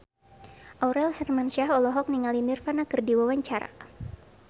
Aurel Hermansyah olohok ningali Nirvana keur diwawancara